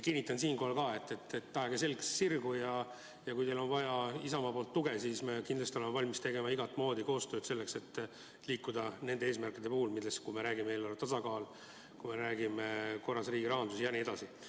Kinnitan siinkohal ka, et kui te selja sirgu ajate ja teil on vaja Isamaa tuge, siis me kindlasti oleme valmis tegema igat moodi koostööd selleks, et liikuda nende eesmärkide poole, kui me räägime eelarve tasakaalust, kui me räägime korras riigirahandusest jne.